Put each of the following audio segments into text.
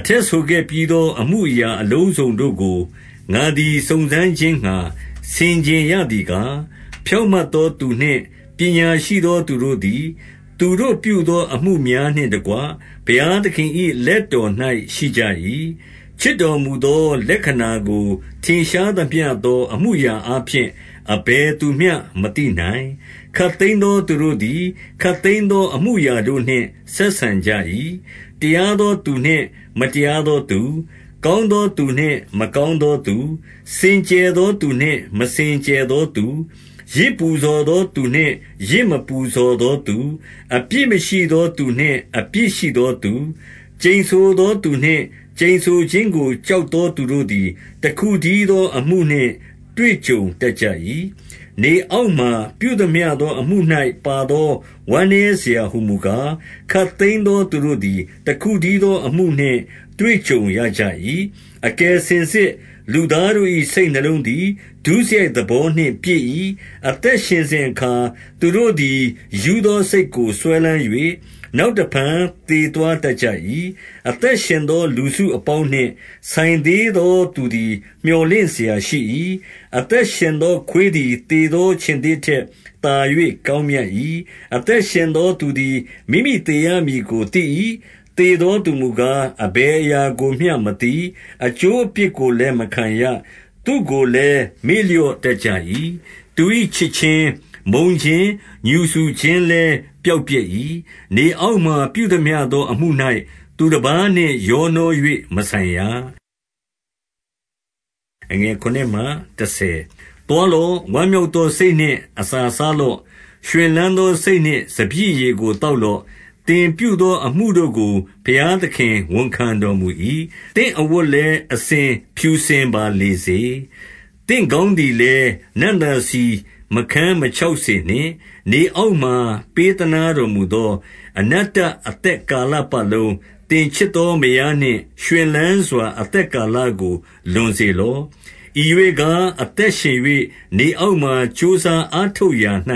အထက်ဆိုခဲ့ပြီးသော အမှုအရာအလုံးစုံတို့ကို ငါသည် စုံစမ်းခြင်းငှါ ဆင်ခြင်ရသည်ကား၊ ဖြောင့်မတ် သောသူနှင့် ပညာရှိသောသူတို့သည် သူတို့ပြုသောအမှု များနှင့်တကွ၊ ဘုရားသခင်၏ လက်တော်၌ ရှိကြ၏။ ချစ်တော်မူသော လက္ခဏာကို ထင်ရှားသမျှသောအမှု အရာအားဖြင့် အဘယ်သူမျှမသိနိုင်။ 2 ခပ်သိမ်းသော သူတို့သည် ခပ်သိမ်းသောအမှု အရာတို့နှင့် ဆက်ဆံကြ၏။ တရားသောသူနှင့် မတရား သောသူ၊ ကောင်းသောသူနှင့် မကောင်းသောသူ၊ စင်ကြယ် သောသူနှင့် မစင်ကြယ်သောသူ၊ ယဇ်ပူဇော်သောသူနှင့် ယဇ်မပူဇော်သောသူ၊ အပြစ်မရှိသောသူနှင့် အပြစ်ရှိ သောသူ၊ ကျိန်ဆိုသောသူနှင့် ကျိန်ဆိုခြင်းကို ကြောက် သောသူတို့သည် တခုတည်းသောအမှုနှင့် တွေ့ကြုံတတ် ၏။ 3 နေအောက်မှာ ပြုသမျှသောအမှု၌ပါသော ဝမ်း နည်းစရာဟူမူကား၊ ခပ်သိမ်းသောသူတို့သည် တခုတည်း သောအမှုနှင့် တွေ့ကြုံရကြ၏။ အကယ်စင်စစ် လူသားတို့ ၏ စိတ်နှလုံးသည် ဒုစရိုက်သဘောနှင့်ပြည့်၏။ အသက် ရှင်စဉ်အခါ၊ သူတို့သည် ရူးသောစိတ်ကို စွဲလမ်း၍၊ နောက်တဖန် သေသွားတတ်ကြ၏။ 4 အသက်ရှင်သော လူစုအပေါင်းနှင့် ဆိုင်သေး သောသူသည် မြော်လင့်စရာရှိ၏။ အသက်ရှင်သောခွေး သည် သေသောခြင်္သေ့ထက် သာ၍ကောင်းမြတ်၏။ 5 အသက်ရှင်သောသူသည် မိမိသေရမည်ကို သိ၏။ သေသောသူမူကား၊ အဘယ်အရာကိုမျှမသိ။ အကျိုးအပြစ်ကိုလည်းမခံရ။ သူ့ကိုလည်း မေ့လျော့တတ် ကြ၏။ 6 သူ၏ချစ်ခြင်း၊ မုန်းခြင်း၊ ငြူစူခြင်းလည်း ပျောက် ပျက်၏။ နေအောက်မှာ ပြုသမျှသောအမှု၌ သူတပါးနှင့် ရောနှော၍ မဆိုင်ရ။ 7 သွားလော့။ ဝမ်းမြောက်သောစိတ်နှင့် အစာစား လော့။ ရွှင်လန်းသောစိတ်နှင့် စပျစ်ရည်ကို သောက် လော့။ သင်ပြုသောအမှုတို့ကို ဘုရားသခင် ဝန်ခံတော်မူ၏။ 8 သင့်အဝတ်လည်း၊ အစဉ်ဖြူစင်ပါလေစေ။ သင့်ခေါင်းသည်လည်း နံ့သာဆီမခန်းမခြောက်စေနှင့်။ 9 နေအောက်မှာ ပေးသနားတော်မူသော အနတ္တ အသက်ကာလပတ်လုံး၊ သင်ချစ်သောမယားနှင့် ရွှင်လန်းစွာ အသက်ကာလကို လွန်စေလော့။ ဤရွေ့ကား၊ အသက်ရှင်၍ နေအောက်မှာကြိုးစားအားထုတ်ရာ၌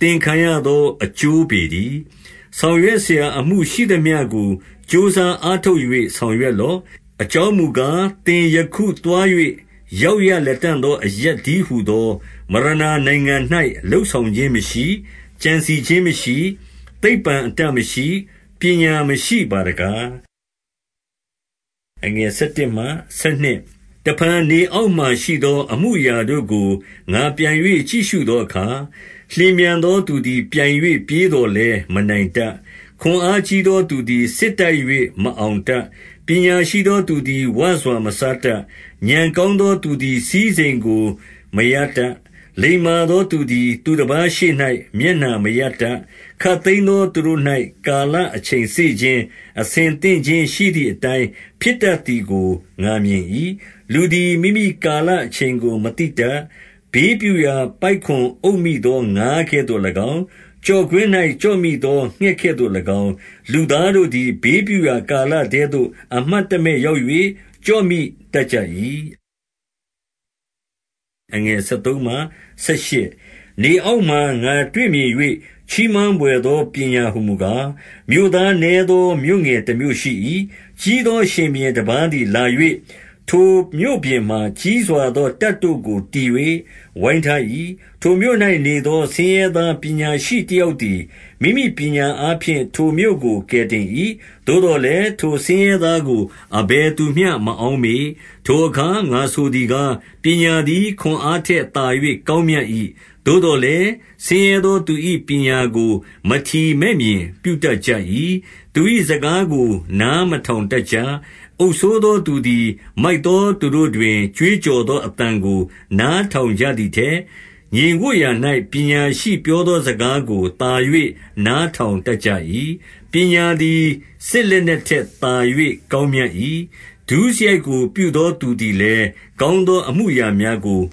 သင်ခံရသော အကျိုးပေတည်း။ 10 ဆောင်ရွက်စရာအမှုရှိသမျှကို ကြိုးစားအား ထုတ်၍ ဆောင်ရွက်လော့။ အကြောင်းမူကား၊ သင်ယခု သွား၍ ရောက်ရလတံ့သောအရပ် တည်းဟူသောမရဏ နိုင်ငံ လုပ်ဆောင်ခြင်းမရှိ။ ကြံစည်ခြင်းမရှိ။ သိပ္ပံအတတ် မရှိ။ ပညာမရှိပါတကား။ 11 တဖန် နေအောက်မှာရှိသော အမှုအရာတို့ကို ငါပြန်၍ ကြည့်ရှုသောအခါ၊ လျင်မြန်သောသူသည် ပြိုင်၍ ပြေးသော်လည်း မနိုင်တတ်။ ခွန်အားကြီးသောသူသည် စစ်တိုက်၍ မအောင်တတ်။ ပညာရှိသောသူသည် ဝစွာ မစားတတ်။ ဥာဏ်ကောင်းသောသူသည် စည်းစိမ်ကို မရတတ်။ လိမ္မာသောသူသည် သူတပါးရှေ့၌ မျက်နှာ မရတတ်။ ခပ်သိမ်းသောသူတို့၌ ကာလအချိန်စေခြင်း၊ အဆင်သင့်ခြင်းရှိသည်အတိုင်း ဖြစ်တတ်သည်ကို ငါမြင် ၏။ 12 လူသည် မိမိကာလအချိန်ကိုမသိတတ်။ ဘေးပြု ရာ ပိုက်ကွန်အုပ်မိသော ငါးကဲ့သို့၎င်း၊ ကျော့ကွင်း၌ ကျော့မိသော ငှက်ကဲ့သို့၎င်း၊ လူသားတို့သည် ဘေးပြုရာ ကာလထဲသို့ အမှတ်တမဲ့ရောက်၍ ကျော့မိတတ်ကြ၏။ 13 နေအောက်မှာ ငါတွေ့မြင်၍ ချီးမွမ်းဘွယ်သော ပညာဟူမူကား၊ 14 မြို့သားနည်းသောမြို့ငယ်တမြို့ရှိ၏။ ကြီးသော ရှင်ဘုရင်တပါးသည်လာ၍၊ ထိုမြို့ပြင်မှာ ကြီးစွာသော တပ်တို့ကို တည်၍ဝိုင်းထား၏။ 15 ထိုမြို့၌နေသော ဆင်းရဲသားပညာရှိတယောက် သည် မိမိပညာအားဖြင့် ထိုမြို့ကို ကယ်တင်၏။ သို့သော် လည်း၊ ထိုဆင်းရဲသားကို အဘယ်သူမျှ မအောက်မေ့။ 16 ထိုအခါ ငါဆိုသည်ကား၊ ပညာသည် ခွန်အားထက် သာ၍ ကောင်းမြတ်၏။ သို့သော်လည်း၊ ဆင်းရဲသောသူ၏ ပညာကို မထီမဲ့မြင်ပြုတတ်ကြ၏။ သူ၏စကားကို နား မထောင်တတ်ကြ။ 17 အုပ်စိုးသောသူသည် မိုက်သောသူတို့တွင် ကြွေး ကြော်သောအသံကို နားထောင်ကြသည်ထက်၊ ငြိမ်ဝပ် ရာ၌ ပညာရှိပြောသောစကားကို သာ၍နားထောင်တတ် ကြ၏။ 18 ပညာသည် စစ်လက်နက်ထက်သာ၍ ကောင်း မြတ်၏။ ဒုစရိုက်ကိုပြုသောသူသည်လည်း၊ ကောင်းသော အမှုများကို ဖ